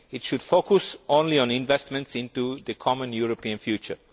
It should focus only on investments in the common European future.